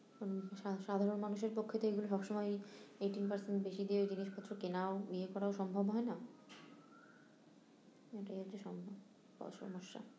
সা~ সাধারণ মানুষের পক্ষেতো এইগুলো সব সময়ই eighteen percent বেশি দিয়ে জিনিস পত্র কেনাও ইয়ে করা সম্ভব হয়না এটাই হচ্ছেই অসমস্যা